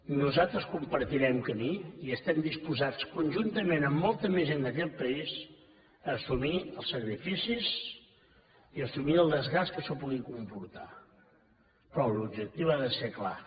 nosaltres compartirem camí i estem disposats conjuntament amb molta més gent d’aquest país a assumir els sacrificis i a assumir el desgast que això pugui comportar però l’objectiu ha de ser clar